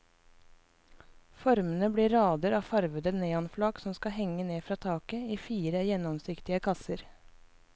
Formene blir rader av farvede neonflak som skal henge ned fra taket i fire gjennomsiktige kasser.